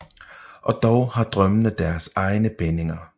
Og dog har drømmene deres egne bindinger